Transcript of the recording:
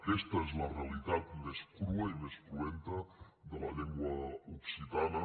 aquesta és la realitat més crua i més cruenta de la llengua occitana